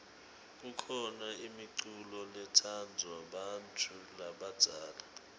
kukhona imiculo letsandvwa bantfu labadzala